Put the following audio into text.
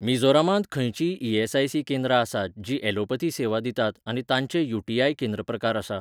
मिझोरामांत खंयचींय ई.एस.आय.सी. केंद्रां आसात जीं ॲलोपथी सेवा दितात आनी तांचें यू. टी.आय.केंद्र प्रकार आसा?